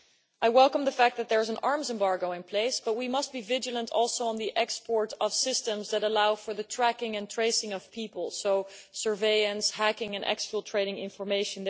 I welcome the fact that there is an arms embargo in place, but we must be vigilant also on the export of systems that allow for the tracking and tracing of people surveillance, hacking and exfiltrating information.